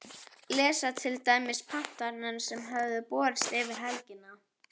Lesa til dæmis pantanirnar sem höfðu borist yfir helgina.